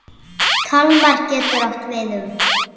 Kalmar getur átt við um